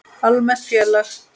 Almennt félag